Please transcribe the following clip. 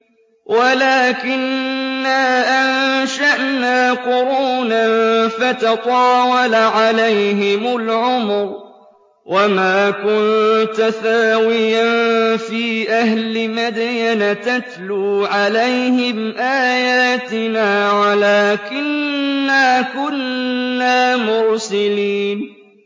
وَلَٰكِنَّا أَنشَأْنَا قُرُونًا فَتَطَاوَلَ عَلَيْهِمُ الْعُمُرُ ۚ وَمَا كُنتَ ثَاوِيًا فِي أَهْلِ مَدْيَنَ تَتْلُو عَلَيْهِمْ آيَاتِنَا وَلَٰكِنَّا كُنَّا مُرْسِلِينَ